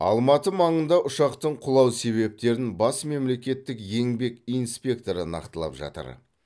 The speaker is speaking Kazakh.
алматы маңында ұшақтың құлау себептерін бас мемлекеттік еңбек инспекторы нақтылап жатыр